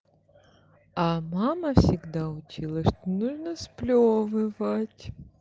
а мама всегда учила что нужно сплёвывать